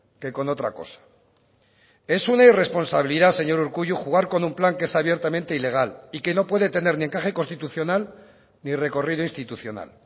que con otra cosa es una irresponsabilidad señor urkullu jugar con un plan que es abiertamente ilegal y que no puede tener ni encaje constitucional ni recorrido institucional